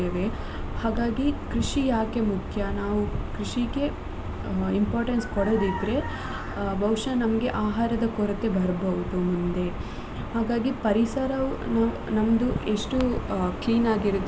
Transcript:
ಹಾಗಾಗಿ ಕೃಷಿ ಯಾಕೆ ಮುಖ್ಯ ನಾವ್ ಕೃಷಿಗೆ importance ಕೊಡದಿದ್ರೆ ಬಹುಶಃ ನಮ್ಗೆ ಆಹಾರದ ಕೊರತೆ ಬರ್ಬೋದು ಮುಂದೆ ಹಾಗಾಗಿ ಪರಿಸರವನ್ನು ನಮ್ದು ಎಷ್ಟು ಆ clean ಆಗಿ ಇರುತ್ತೆ.